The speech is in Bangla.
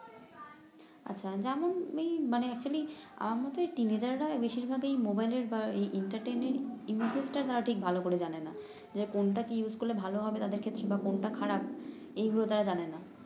আচ্ছা যেমন এই মানে আমার মতে এই রাই বেশিরভাগ এই মোবাইলের বা এর ঠিক ভাল করে জানে না যে কোনটা কি ইউস করলে ভাল হবে তাদের ক্ষেত্রে বা কোনটা খারাপ এইগুলো তারা জানে না